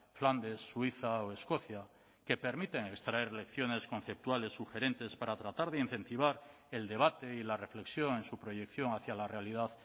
flandes suiza o escocia que permiten extraer lecciones conceptuales sugerentes para tratar de incentivar el debate y la reflexión en su proyección hacia la realidad